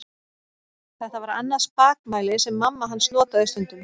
Þetta var annað spakmæli sem mamma hans notaði stundum.